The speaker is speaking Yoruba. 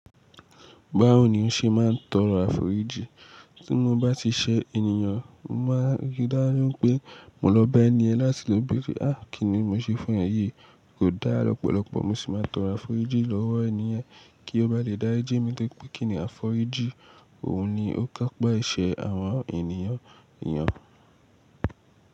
Báwo ni o ṣe máa ń tọrọ àforíjì? Tí mo bá ti ṣẹ́ ènìyàn, mo máa rí dájú pé mo lọ bá ẹni yẹn láti lọ bèrè, "àá kíni mo ṣe fún ẹ yìí?" Kò dá lọ́pọ̀lọpọ̀, mo sì máa tọrọ àforíjì lọ́wọ́ ènì yen kí ó bá lè dárijmí, nítorí pé kíni àforíjì, òun ni ó kápa ẹ̀ṣẹ̀ àwọn ènìyàn.